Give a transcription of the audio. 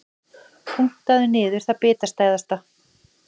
Punktaði niður það bitastæðasta.